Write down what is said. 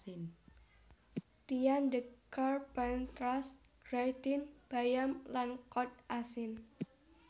Tian de Carpentras gratin bayam lan kod asin